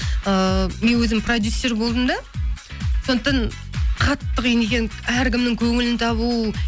ыыы мен өзім продюссер болдым да сондықтан қатты қиын екен әркімнің көңілін табу